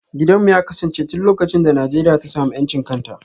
Gidanmu ya kasance tun lokacin da Najeriya ta samu 'yancin kan ta.